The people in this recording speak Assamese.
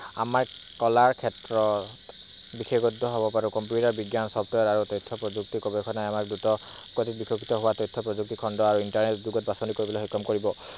আমাৰ কলাৰ ক্ষেত্ৰত বিশেষজ্ঞ হব পাৰো computer software আৰু তথ্য প্ৰযুক্তি গৱেষণাই আমাৰ দ্ৰুত গতিত বিকশিত হোৱা তথ্য প্ৰযুক্তি খন্দ আৰু internet যুগত বাছনি কৰিবলৈ সক্ষম কৰিব।